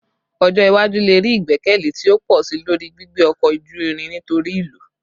Ọjọ iwaju le rii igbẹkẹle ti o pọ si lori gbigbe ọkọ oju-irin nitori ilu